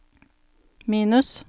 minus